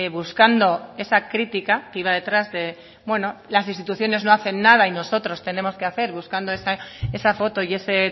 buscando esa crítica que iba detrás de las instituciones no hacen nada y nosotros tenemos que hacer buscando esa foto y ese